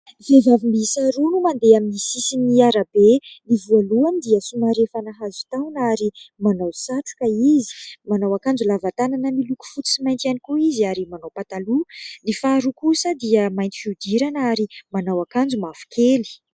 Vehivavy miisa roa no mandeha amin'ny sisin'ny arabe, ny voalohany dia somary efa nahazo taona ary manao satroka izy, manao akanjo lava tanana miloko fotsy sy mainty ihany koa izy ary manao pataloha ; ny faharoa kosa dia mainty fihodirana ary manao akanjo mavo kely.